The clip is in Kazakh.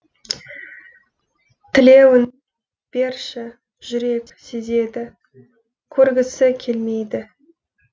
тілеуін берші жүрек сезеді көргісі келмейді